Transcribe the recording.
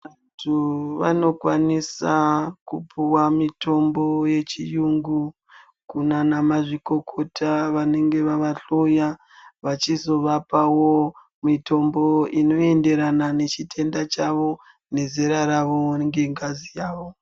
Antu anokwanisa kupuwa mutombo yechiyungu kunana mazvikokota vanenge vava hloya vavhizovapawo mutombo inoenderana nechitenda chawo nezerq ravo ngengazi yavo.